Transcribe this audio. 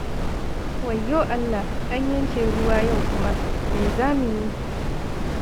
Wayyo Allah! An yanke ruwa yau kuma, me za mu yi?